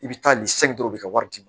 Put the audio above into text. I bɛ taa nin u bɛ ka wari d'i ma